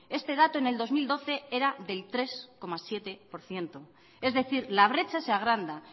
este dato en el dos mil doce era del tres coma siete por ciento es decir la brecha se agranda